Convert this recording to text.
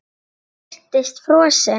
Hún virtist frosin.